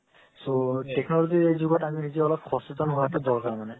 so technology ৰ যোগত আমি নিজে অলপ সচেতন হওৱা তো দৰকাৰ মানে